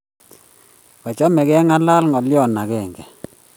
kachame kengalale ngalio age